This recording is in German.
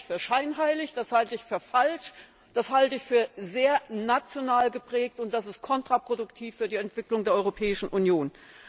Das halte ich für scheinheilig, das halte ich für falsch, das halte ich für sehr national geprägt, und das ist kontraproduktiv für die Entwicklung der Europäischen Union.